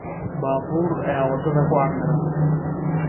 Baabuur ayaa waddada ku camiran